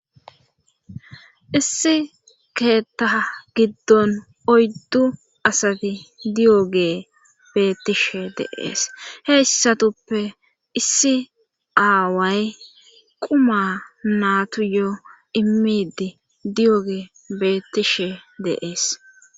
issi keetta giddon oyddu asati di7oge beettishe deees heyssatuppe issi aaway quma naatu yoo immidi diyoge beettishe deees